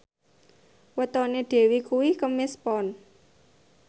wetone Dewi kuwi Kemis Pon